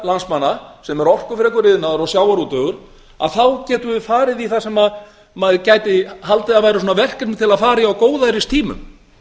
landsmanna sem er orkufrekur iðnaður og sjávarútvegur þá getum við farið í það sem maður gæti haldið að væru verkefni til að fara í á góðæristímum